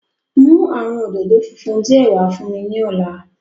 Mu awọn ododo funfun diẹ wa fun mi ni ọla